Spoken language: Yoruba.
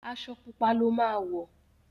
Aṣọ pupa ló má wọ.